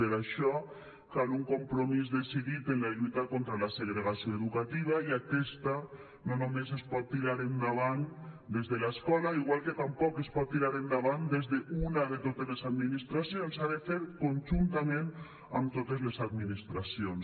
per això cal un compromís decidit en la lluita contra la segregació educativa i aquesta no només es pot es pot tirar endavant des de l’escola igual que tampoc es pot tirar endavant des d’una de totes les administracions s’ha de fer conjuntament amb totes les administracions